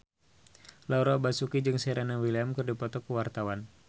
Laura Basuki jeung Serena Williams keur dipoto ku wartawan